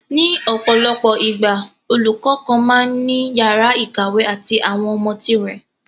ní ọ̀pọ̀lọpọ̀ ìgbà, olùkọ́ kan máa ń ní yàrá ìkàwé àti àwọn ọmọ tirẹ̀